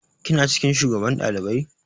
Kina cikin shugaban ɗalibai?